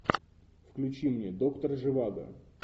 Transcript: включи мне доктор живаго